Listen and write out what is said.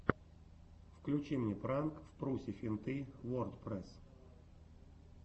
включи мне пранк впрусе финты вордпрэсс